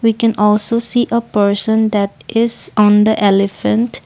we can also see a person that is on the elephant.